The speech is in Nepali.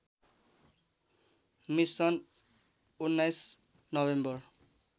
mission १९ November